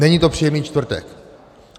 Není to příjemný čtvrtek.